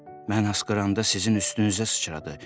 Mən asqıranda sizin üstünüzə sıçradı.